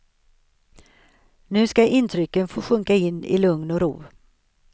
Nu ska intrycken få sjunka in i lugn och ro.